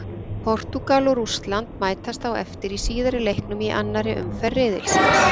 Portúgal og Rússland mætast á eftir í síðari leiknum í annari umferð riðilsins.